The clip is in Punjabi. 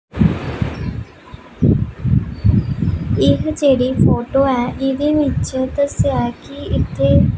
ਇਹ ਜਿਹੜੀ ਫੋਟੋ ਹੈ ਇਹਦੀ ਵਿੱਚ ਦੱਸਿਆ ਐ ਕਿ ਇੱਥੇ--